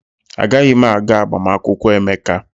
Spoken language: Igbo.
Agaghị m aga agbamakwụkwọ Emeka.